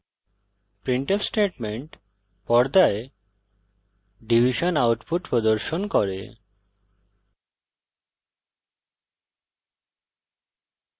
printf statement পর্দায় division output প্রদর্শন করে